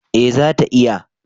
eh za ta iya